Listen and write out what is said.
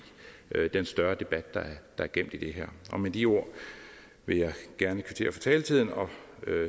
den større debat der er gemt i det her med de ord vil jeg gerne kvittere for taletiden og